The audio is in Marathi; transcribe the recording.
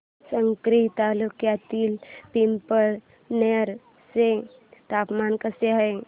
साक्री तालुक्यातील पिंपळनेर चे तापमान कसे आहे